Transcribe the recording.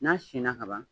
N'a sinna ka ban